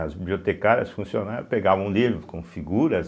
As bibliotecárias funcionárias pegavam livros com figuras,